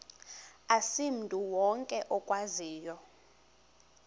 asimntu wonke okwaziyo